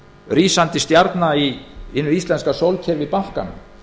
rísandi stjarna í hinu íslenska sólkerfi bankanna